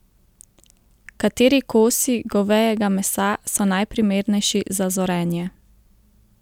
Kateri kosi govejega mesa so najprimernejši za zorenje?